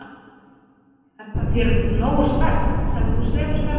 Er þér það nógur svefn, sem þú sefur þarna?